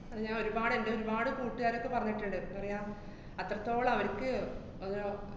അതാ ഞാനൊരുപാട് എന്‍റെ ഒരുപാട് കൂട്ടുകാരൊക്കെ പറഞ്ഞിട്ട്ണ്ട്, ന്താ പറയാ, അത്രത്തോളം അവര്‍ക്ക് അത്